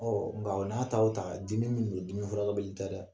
Ɔ nka o n'a ta o ta dimi min don dimi furukɛbali tɛ dɛ